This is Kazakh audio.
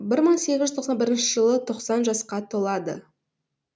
бір мың сегіз жүз тоқсын бірінші жылы тоқсан жасқа толады